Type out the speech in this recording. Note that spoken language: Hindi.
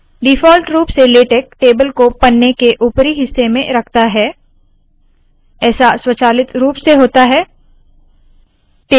डिफॉल्ट रूप से लेटेक टेबल को पन्ने के उपरी हिस्से में रखता है ऐसा स्वचालित रूप से होता है